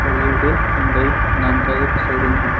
Fairdeal Hyundai नाम का एक शोरूम है।